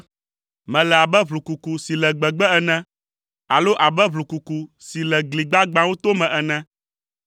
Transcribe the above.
Mele abe ʋlukuku si le gbegbe ene, alo abe ʋlukuku si le gli gbagbãwo tome ene.